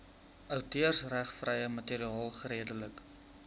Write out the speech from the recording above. outeursregvrye materiaal geredelik